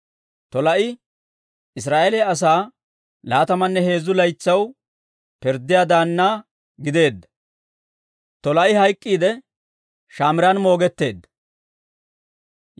Tolaa'i Israa'eeliyaa asaa laatamanne heezzu laytsaw pirddiyaa daanna gideedda. Tolaa'i hayk'k'iidde, Shamiiran moogetteedda.